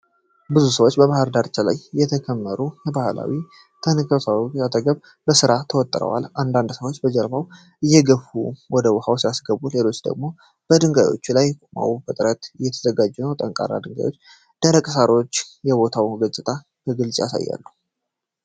ብዙ ሰዎች በባህር ዳርቻ ላይ የተከመሩ ባህላዊ ታንክኩዎች አጠገብ በሥራ ተወጥረዋል። አንዳንድ ሰዎች ጀልባዎቹን እየገፉ ወደ ውኃው ሲያስገቡ ሌሎች ደግሞ በድንጋዮቹ ላይ ቆመው በጥረት እየተዘጋጁ ነው። ጠንካራ ድንጋዮችና ደረቅ ሳሮች የቦታውን ገጽታ በግልጽ ያሳያሉ።